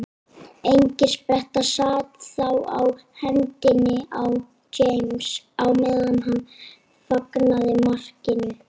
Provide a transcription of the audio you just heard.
Engispretta sat þá á hendinni á James á meðan hann fagnaði markinu.